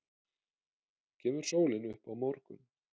Kemur sólin upp á morgun?